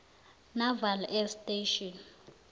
naval air station